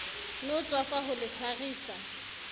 no tswafa ho le tshwarisa